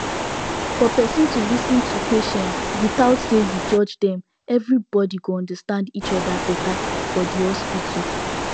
for person to lis ten to patient without say you judge them everybody go understand each other better for the hospital